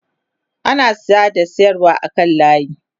ana saya da sayarwa a kan layi